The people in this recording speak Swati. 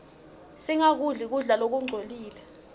singakudli kudla lokungcolile